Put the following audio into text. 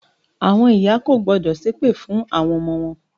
Àwọn ìyá kò gbọ́dọ̀ ṣépè fún àwon ọmọ wọn